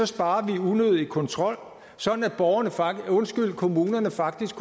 sparer vi unødig kontrol så kommunerne faktisk